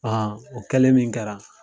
A o kɛlen min kɛra